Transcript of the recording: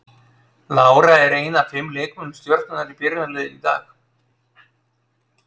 Lára er ein af fimm leikmönnum Stjörnunnar í byrjunarliðinu í dag.